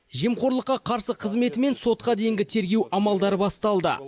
жемқорлыққа қарсы қызметі мен сотқа дейінгі тергеу амалдары басталды